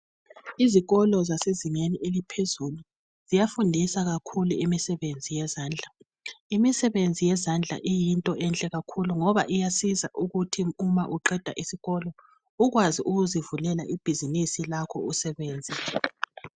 Izikolo zasezingeni eliphezulu ziyafundisa kakahulu imisebenzi yezandla imisebenzi yezandla iyinto enhle kakhulu ngoba iyasiza ukuthi uma uqeda isikolo ukwazi ukuzivulela ibhizinisi lakho usebenzela.